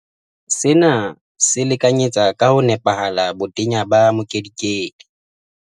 Sena se lekanyetsa ka ho nepahala botenya ba mokedikedi.